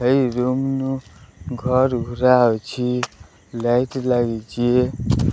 ଏଇ ରୁମ ଘର ଘୁରା ଅଛି ଲାଇଟ ଲାଗିଚି।